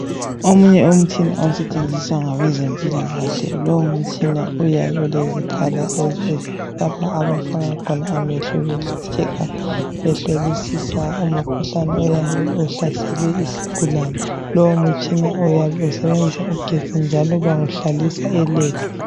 Omunye umtshina osetshenziswa ngabezempilakahle, lowumutshina uyabe ulezikhala ezi lapha abafaka khona amehlo be checker behlolisisa umkhuhlane oyabe uhlasele isigulane. Lowu mutshina uyabe usebenzisa ugetsi njalo bawuhlalisa elab